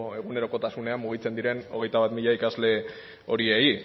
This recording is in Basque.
egunerokotasunean mugitzen diren hogeita bat mila ikasle horiei